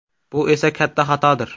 Bu esa katta xatodir.